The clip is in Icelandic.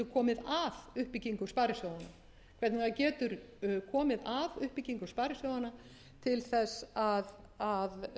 komið að uppbyggingu sparisjóðanna til þess að bjarga því sem bjargað verður